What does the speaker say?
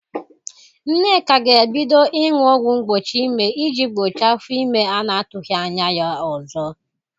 Nneka ga-ebido ịñụ ọgwụ mgbochi ịme ị jị gboche afọ ime a na-atụghị anya ya ọzọ